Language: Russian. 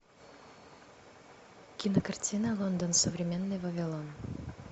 кинокартина лондон современный вавилон